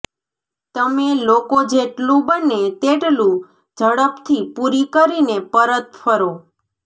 તમે લોકો જેટલું બને તેટલું ઝડપથી પૂરી કરીને પરત ફરો